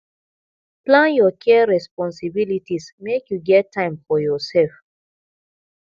plan your care responsibilities make you get time for yoursef